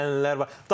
Yeni ənənələr var.